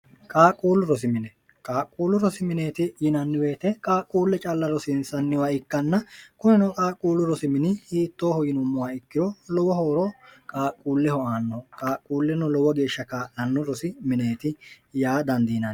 qaaqquullu rosimine qaaqquullu rosi mineeti yinannibeete qaaqquulle calla rosiinsanniwa ikkanna kuneno qaaqquullu rosimini iittooho yinummoha ikkiro lowo hooro qaaqquulleho aanno qaaqquulleno lowo geeshsha kaa'lannu rosi mineeti yaa dandiin